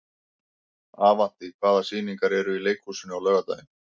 Avantí, hvaða sýningar eru í leikhúsinu á laugardaginn?